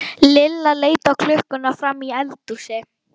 Lilla leit á klukkuna frammi í eldhúsi.